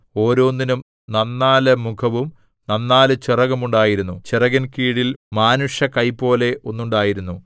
ഓരോന്നിനും നന്നാലു മുഖവും നന്നാലു ചിറകും ഉണ്ടായിരുന്നു ചിറകിൻ കീഴിൽ മാനുഷകൈപോലെ ഒന്നുണ്ടായിരുന്നു